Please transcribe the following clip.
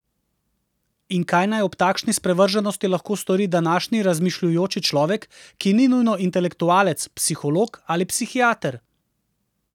In kaj naj ob takšni sprevrženosti lahko stori današnji razmišljujoči človek, ki ni nujno intelektualec, psiholog ali psihiater?